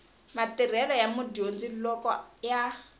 matirhelo ya mudyondzi loko ya